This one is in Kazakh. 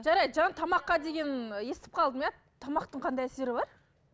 жарайды жаңа тамаққа деген естіп қалдым иә тамақтың қандай әсері бар